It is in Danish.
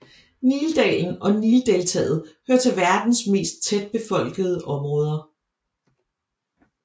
Nildalen og Nildeltaet hører til verdens mest tætbefolkede områder